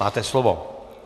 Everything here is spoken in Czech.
Máte slovo.